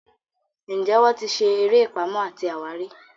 njé wón tí ṣe eré Pàmò àti àwárí?